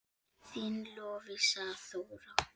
Þín Lovísa Þóra.